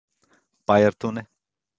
Bæjartúni